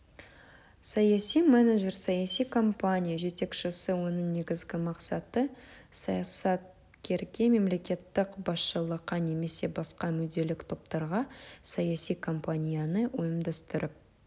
саяси менеджер саяси компания жетекшісі оның негізгі мақсаты саясаткерге мемлекеттік басшылыққа немесе басқа мүдделік топтарға саяси компанияны ұйымдастырып